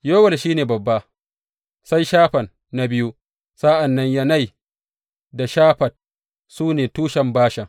Yowel shi ne babba, sai Shafan na biyu, sa’an nan Yanai da Shafat, su ne tushen Bashan.